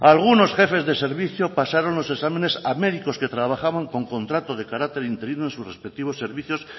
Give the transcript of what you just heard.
algunos jefes de servicio pasaron los exámenes a médicos que trabajaron con contrato de carácter interino en sus respectivos servicios